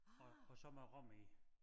Og og så med rom i